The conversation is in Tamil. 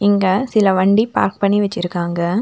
இங்க சில வண்டி பார்க் பண்ணி வச்சுருக்காங்க.